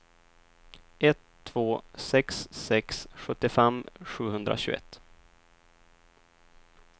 ett två sex sex sjuttiofem sjuhundratjugoett